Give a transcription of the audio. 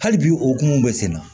Hali bi okumu bɛ sen na